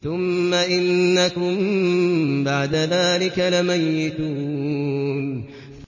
ثُمَّ إِنَّكُم بَعْدَ ذَٰلِكَ لَمَيِّتُونَ